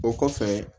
O kɔfɛ